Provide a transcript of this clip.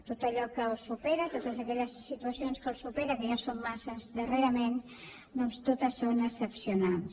tot allò que els supera totes aquelles situacions que els superen que ja són massa darrerament doncs totes són excepcionals